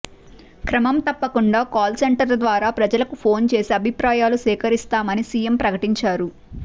క్రమం తప్పకుండా కాల్ సెంటర్ల ద్వారా ప్రజలకు ఫోన్ చేసి అభిప్రాయాలు సేకరిస్తామని సీఎం ప్రకటించారు